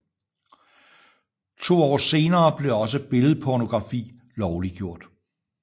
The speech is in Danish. To år senere blev også billedpornografi lovliggjort